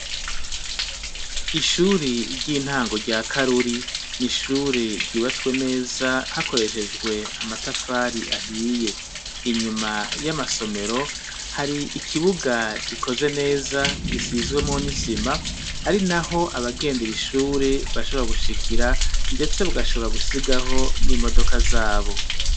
Ishuri ry'intango rya karuri ni ishuri ryubatswe neza hakoreshejwe amatafari ahiye inyuma y'amasomero hari ikibuga gikoze neza gisizwemo n'isima ari naho abagendera ishuri bashobora gushikira ndetse bagashobora gusigaho imodoka zabo.